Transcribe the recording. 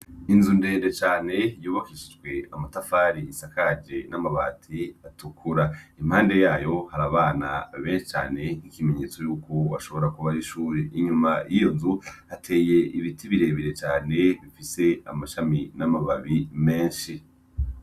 Inzu ndende cane yubakishijwe amatafari, isakaje n'amabati atukura. Impande yayo hari abana benshi cane ikimenyetso y'uko ashobora kuba ari ishure. Inyuma y'iyo nzu hateye ibiti birebere cane bifise amashami n'amababi menshi.